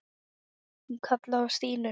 Hún kallaði á Stínu.